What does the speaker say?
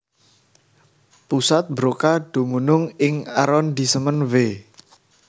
Pusat Broca dumunung ing arondisemen Ve